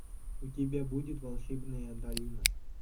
у тебя будет волшебная долина